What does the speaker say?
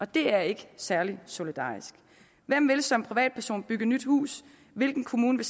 det er ikke særlig solidarisk hvem vil som privatperson bygge nyt hus hvilken kommune